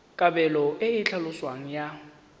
kabelo e e tlhaloswang ya